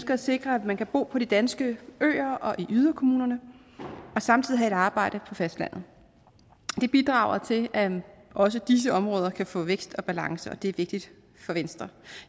at sikre at man kan bo på de danske øer og i yderkommunerne og samtidig have et arbejde på fastlandet det bidrager til at også disse områder kan få vækst og balance og det er vigtigt for venstre